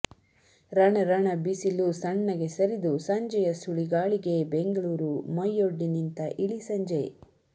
ರಣ ರಣ ಬಿಸಿಲು ಸಣ್ಣಗೆ ಸರಿದು ಸಂಜೆಯ ಸುಳಿಗಾಳಿಗೆ ಬೆಂಗಳೂರು ಮೈಯೊಡ್ಡಿ ನಿಂತ ಇಳಿ ಸಂಜೆ